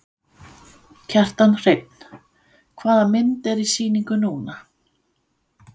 Kjartan Hreinn: Hvaða mynd er í sýningu núna?